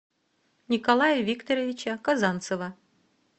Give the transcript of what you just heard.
николая викторовича казанцева